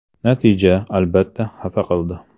Natija, albatta, xafa qildi.